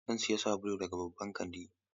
Zan sayi sabulu daga babban kanti.